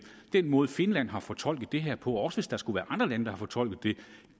måde finland har fortolket det her på og også hvis der skulle være andre lande der har fortolket